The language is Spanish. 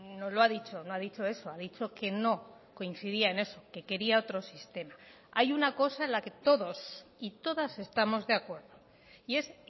no lo ha dicho no ha dicho eso ha dicho que no coincidía en eso que quería otro sistema hay una cosa en la que todos y todas estamos de acuerdo y es